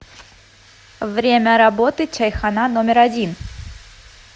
время работы чайхана номер один